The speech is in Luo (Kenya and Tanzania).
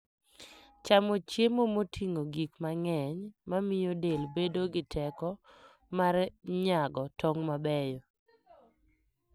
Chamo chiemo moting'o gik mang'eny mamiyo del bedo gi teko mar nyago tong' mabeyo.